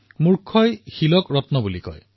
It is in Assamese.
মুৰ্খই পাথৰকে ৰত্ন বুলি কয়